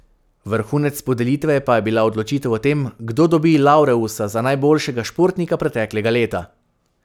Vrhunec podelitve pa je bila odločitev o tem, kdo dobi laureusa za najboljšega športnika preteklega leta.